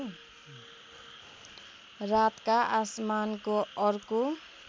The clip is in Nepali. रातका आसमानको अर्को